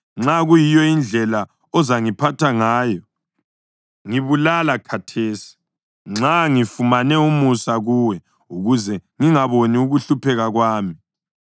Nxa kuyiyo indlela ozangiphatha ngayo, ngibulala khathesi, nxa ngifumane umusa kuwe, ukuze ngingaboni ukuhlupheka kwami.”